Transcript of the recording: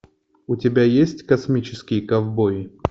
у тебя есть космические ковбои